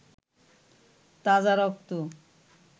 তাজা রক্ত